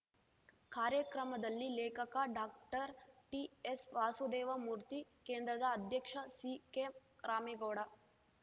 ಕಾರ್ಯಕ್ರಮದಲ್ಲಿ ಲೇಖಕ ಡಾಕ್ಟರ್ಟಿಎಸ್ವಾಸುದೇವ ಮೂರ್ತಿ ಕೇಂದ್ರದ ಅಧ್ಯಕ್ಷ ಸಿಕೆರಾಮೇಗೌಡ